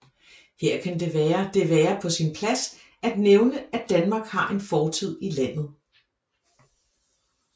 Her kan det være det være på sin plads at nævne at Danmark har en fortid i landet